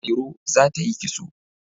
Mairo za ta yi kitso.